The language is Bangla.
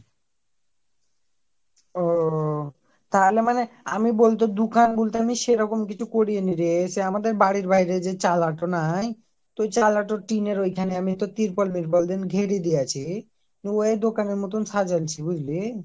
ওওওও তাহলে মানে আমিই বলতে দুকান বলতে আমি সেরকম কিছু কোরিইনি রে সেই আমাদের বাড়ির যে চলাটা নাই ওই চালাটা টিনের ওইখানে আমি একটা তির্পল মিরপল দিয়া ঘিরা দিয়েছি উ ওই দোকানের মতন সাজাইনচে বুজলি